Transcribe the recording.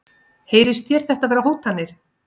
Heyrist þér þetta vera hótanir?